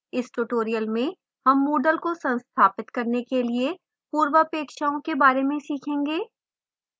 इस tutorial में हम moodle को संस्थापित करने के लिए पूर्वपेक्षाओं के बारे में सीखेंगे